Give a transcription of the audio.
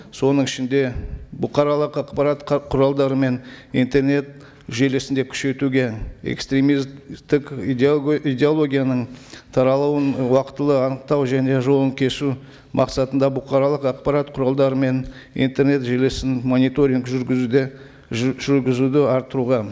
соның ішінде бұқаралық ақпарат құралдары мен интернет желісінде күшейтуге экстремисттік идеологияның таралуын уақытылы анықтау және жолын кесу мақсатында бұқаралық ақпарат құралдары мен интернет желісін мониторинг жүргізуде жүргізуді арттыруға